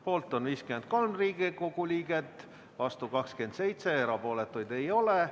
Poolt on 53 Riigikogu liiget, vastuolijaid 27, erapooletuid ei ole.